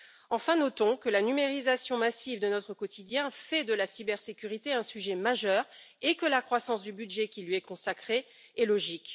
Enfin, notons que la numérisation massive de notre quotidien fait de la cybersécurité un sujet majeur et que la croissance du budget qui lui est consacré est logique.